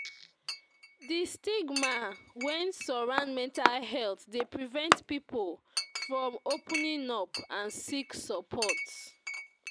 Di stigma wey surround mental health dey prevent people from opening up and seek suppprt.